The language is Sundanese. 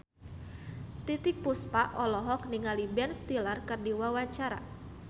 Titiek Puspa olohok ningali Ben Stiller keur diwawancara